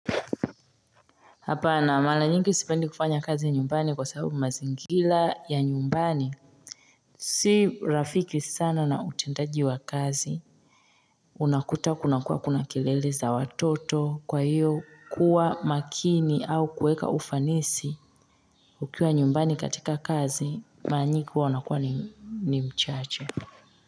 Hapana mara nyingi sipendi kufanya kazi ya nyumbani kwa sababu mazingira ya nyumbani si rafiki sana na utendaji wa kazi unakuta kuna kuwa kuna kelele za watoto kwa hiyo kuwa makini au kuweka ufanisi Ukiwa nyumbani katika kazi mara nyingi huwa unakuwa ni mchache.